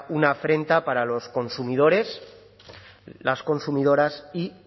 una afrenta para los consumidores las consumidoras y